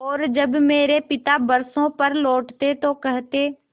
और जब मेरे पिता बरसों पर लौटते तो कहते